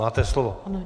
Máte slovo.